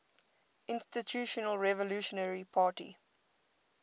institutional revolutionary party